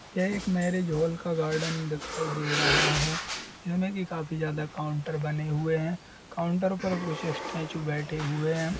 यह एक marriage hall का गार्डन दिखाई दे रहा है जिसमें की काफी ज्यादा काउंटर बने हुए हैं। काउंटर पर कुछ स्टैचू बैठे हुए हैं।